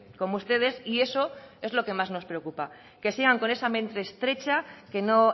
como ustedes y eso es lo que más nos preocupa que sigan con esa mente estrecha que no